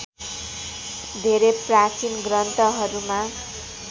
धेरै प्राचीन ग्रन्थहरूमा